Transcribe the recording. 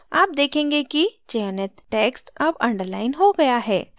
आप देखेंगे कि चयनित text अब underlined हो गया है